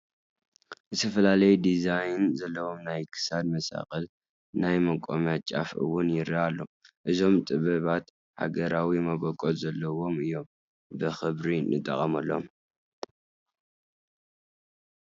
ዝተፈላለየ ዲዛይን ዘለዎም ናይ ክሳድ መሳቕል፣ ናይ መቖሚያ ጫፍ እውን ይርአ ኣሎ፡፡ እዞም ጥበባት ሃገራዊ መበቆል ዘለዎም እዮም ብኽብሪ ንጠቐመሎም፡፡